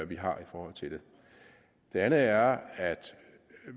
vi har i forhold til det det andet er at